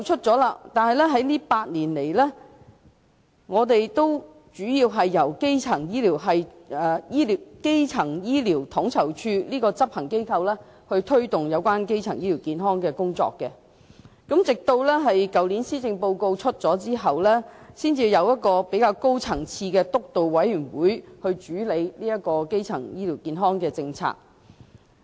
這8年來，主要由基層醫療統籌處這個執行機構負責推動基層醫療健康的工作，直至去年施政報告發表後，才成立了較高層次的督導委員會主理基層醫療健康政策。